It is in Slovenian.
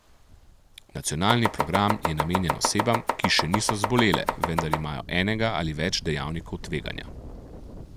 Nacionalni program je namenjen osebam, ki še niso zbolele, vendar imajo enega ali več dejavnikov tveganja.